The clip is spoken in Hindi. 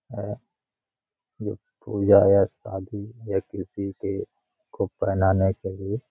यह पूजा या शादी या किसी के को पहनाने के लिए।